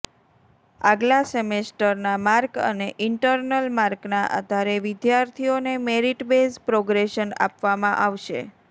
આગલા સેમેસ્ટરના માર્ક અને ઈન્ટરનલ માર્કના આધારે વિદ્યાર્થીઓને મેરિટ બેઝ પ્રોગ્રેશન આપવામાં આવશે